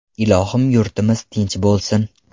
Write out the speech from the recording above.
Ilohim yurtimiz tinch bo‘lsin!